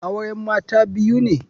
Auren Mata biyu ne.